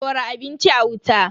Dora abinci a wuta.